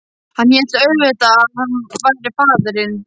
Hann hélt auðvitað að hann væri faðirinn.